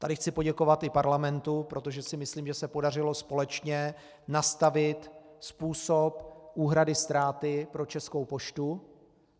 Tady chci poděkovat i parlamentu, protože si myslím, že se podařilo společně nastavit způsob úhrady ztráty pro Českou poštu.